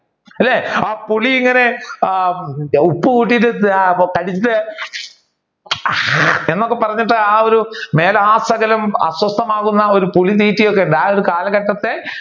അല്ലെ. ആ പുളി ഇങ്ങനെ ഉപ്പ് കൂട്ടിയിട്ട് എന്നൊക്കെ പറഞ്ഞിട്ട് ആ ഒരു മേലാസകലം അസ്വസ്ഥമാകുന്ന ഒരു പുളി ഒക്കെയുണ്ട് ആ ഒരു കാലഘട്ടത്തെ